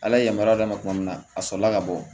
Ala ye yamaruya d'a ma tuma min na a sɔrɔla ka bɔ